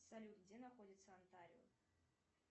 салют где находится антарио